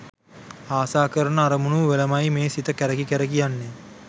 ආසා කරන අරමුණු වලමයි මේ සිත කැරකි කැරකි යන්නෙ.